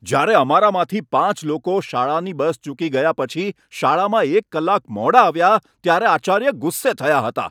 જ્યારે અમારામાંથી પાંચ લોકો શાળાની બસ ચૂકી ગયા પછી શાળામાં એક કલાક મોડા આવ્યા ત્યારે આચાર્ય ગુસ્સે થયા હતા.